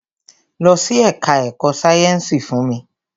Lọ sí ẹka ẹ̀kọ́ sáyẹnsì fún mi!